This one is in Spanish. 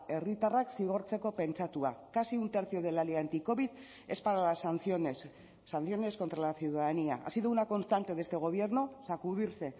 herritarrak zigortzeko pentsatua casi un tercio de la ley anticovid es para las sanciones sanciones contra la ciudadanía ha sido una constante de este gobierno sacudirse